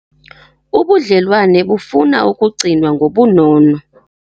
Ubudlelwane bufuna ukigcinwa ngobunono.